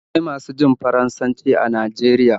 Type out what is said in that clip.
Akwai masu jin Faransanci are Najeriya